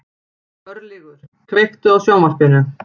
Örlygur, kveiktu á sjónvarpinu.